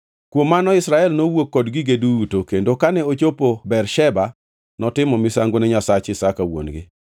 Kuom mano Israel nowuok kod gige duto, kendo kane ochopo Bersheba, notimo misango ne Nyasach Isaka wuon-gi.